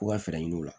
Ko ka fɛɛrɛ ɲini u la